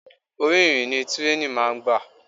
Orí irin ni tírèènì máa ń gbà.